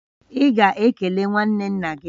Ị ga-ekele nwanne nna gị!